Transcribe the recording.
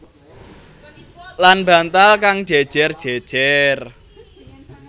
Lan bantal kang jèjèr jèjèr